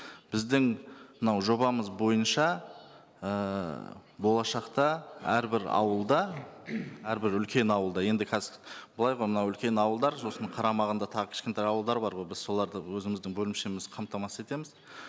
біздің мынау жобамыз бойынша ііі болашақта әрбір ауылда әрбір үлкен ауылда енді қазір былай ғой мынау үлкен ауылдар сосын қарамағында тағы кішкентай ауылдар бар ғой біз соларды өзіміздің бөлімшеміз қамтамасыз етеміз